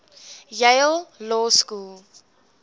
yale law school